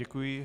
Děkuji.